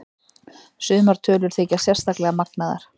Sumar tölur þykja sérstaklega magnaðar.